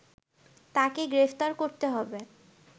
তাকে গ্রেপ্তার করতে হবে